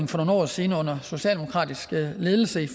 for nogle år siden under socialdemokratisk ledelse